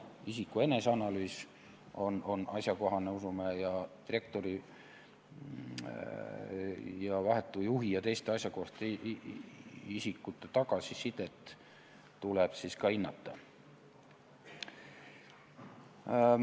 Isiku eneseanalüüs on asjakohane, usume, ning direktori vahetu juhi ja teiste asjakohaste isikute tagasisidet tuleb ka hinnata.